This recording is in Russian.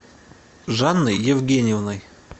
жанной евгеньевной